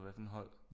Hvad for et hold